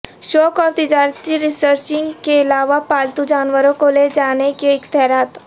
شوق اور تجارتی ریسرچنگ کے علاوہ پالتو جانوروں کو لے جانے کے اختیارات